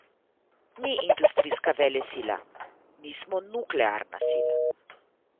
Ni industrijska velesila, nismo nuklearna sila.